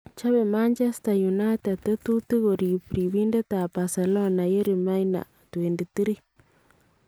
chopee Manchester united tetutiik koreep ribindetab Barcelona Yerry Mina ,23